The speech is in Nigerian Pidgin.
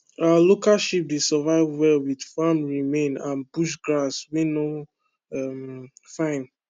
our local sheep dey survive well with farm remain and bush grass wey no um fine